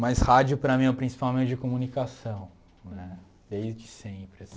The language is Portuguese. Mas rádio, para mim, é o principal meio de comunicação nè, desde sempre.